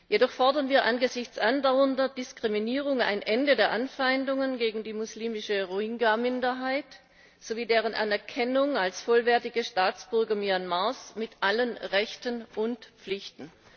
Jedoch fordern wir angesichts andauernder Diskriminierung ein Ende der Anfeindungen gegen die muslimische Rohingya Minderheit sowie deren Anerkennung als vollwertige Staatsbürger Myanmars mit allen Rechten und Pflichten.